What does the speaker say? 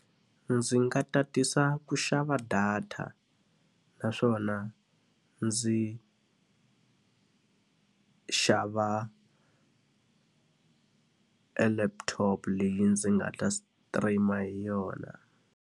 Ndzi nga tatisa ku xava data naswona ndzi xava e laptop leyi ndzi nga ta stream-a hi yona.